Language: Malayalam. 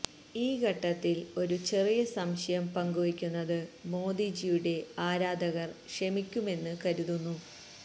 ഈ ഘട്ടത്തില് ഒരു ചെറിയ സംശയം പങ്കുവെയ്ക്കുന്നത് മോദിജിയുടെ ആരാധകര് ക്ഷമിക്കുമെന്ന് കരുതുന്നു